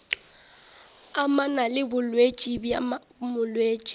amana le bolwetši bja molwetši